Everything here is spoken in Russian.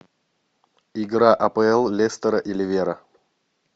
игра апл лестера и ливера